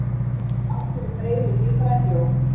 Af hverju freyðir lífræn mjólk?